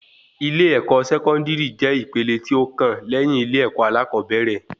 Ilé-èkó sẹkọndiri jẹ ìpele tí ó kàn léyìn ilé-èkó alakobere